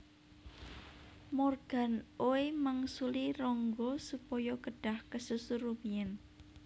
Morgan Oey mangsuli Rangga supaya kedhah kesusu rumiyin